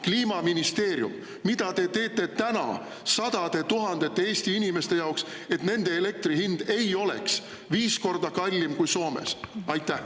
Kliimaministeerium, mida te teete täna sadade tuhandete Eesti inimeste jaoks, et nende elektri hind ei oleks viis korda kallim kui Soomes?